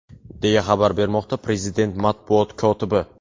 deya xabar bermoqda prezident matbuot kotibi.